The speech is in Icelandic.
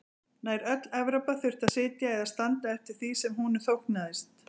Nær öll Evrópa þurfti að sitja eða standa eftir því sem honum þóknaðist.